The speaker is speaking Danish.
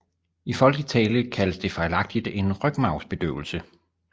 I folkelig tale kaldes det fejlagtigt en rygmarvsbedøvelse